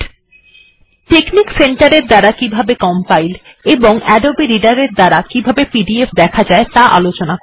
আমি আপনাদের আরো জানাব কিভাবে টেকনিক্ সেন্টার ব্যবহার করে কম্পাইল্ এবং আদবে রিডার ব্যবহার করে পিডিএফ ডকুমেন্ট দেখা যায়